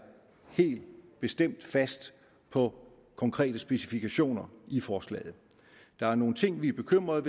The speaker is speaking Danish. helt bestemt fast på konkrete specifikationer i forslaget der er nogle ting vi er bekymrede